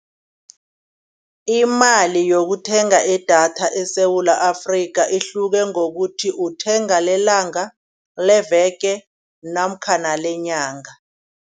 Imali yokuthenga idatha eSewula Afrika ihluke ngokuthi uthenga lelanga, leveke namkhana lenyanga.